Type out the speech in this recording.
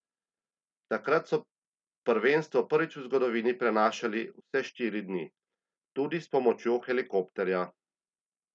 Takrat so prvenstvo prvič v zgodovini prenašali vse štiri dni, tudi s pomočjo helikopterja.